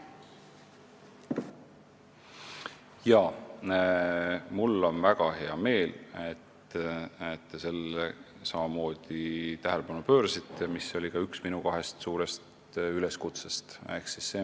Mul on väga hea meel, et ka teie sellele tähelepanu pöörasite, sest see oli üks minu kahest suurest üleskutsest.